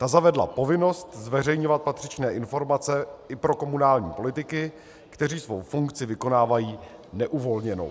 Ta zavedla povinnost zveřejňovat patřičné informace i pro komunální politiky, kteří svou funkci vykonávají neuvolněnou.